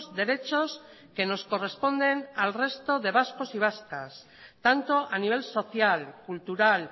derechos que nos corresponden al resto de vascos y vascas tanto a nivel social cultural